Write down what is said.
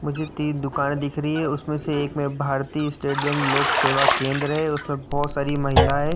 मुझे तीन दुकान दिख रही है। उसमें से एक में भारतीय स्टेट बैंक लोकसेवा केंद्र है। उसमें बहोत सारी महिलाएं --